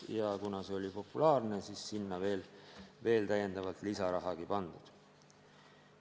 Ja kuna see oli populaarne, siis sai sinna veel täiendavalt lisaraha pandud.